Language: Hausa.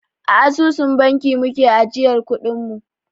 A asusun banki muke ajiyar kuɗin mu